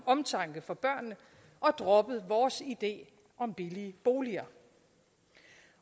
omtanke for børnene og droppet vores idé om billige boliger